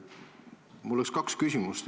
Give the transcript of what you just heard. Mul on kaks küsimust.